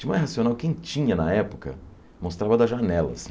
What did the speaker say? Tim Maia Racional, quem tinha na época, mostrava da janela, assim.